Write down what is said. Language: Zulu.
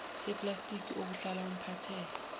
seplastiki obuhlala umphathele